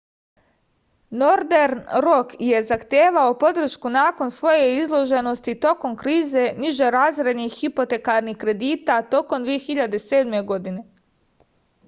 nordern rok je zahtevao podršku nakon svoje izloženosti tokom krize nižerazrednih hipotekarnih kredita tokom 2007. godine